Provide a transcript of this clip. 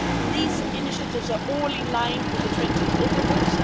These initiatives are all in line with the 20 deliverables.